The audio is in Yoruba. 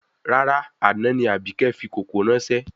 Rárá, àná ni Àbíkẹ́ fi kòkó ráńṣẹ́